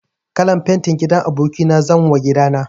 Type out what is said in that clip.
Kalan fenti gidan aboki na zanwa gida na.